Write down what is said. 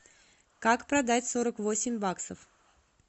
как продать сорок восемь баксов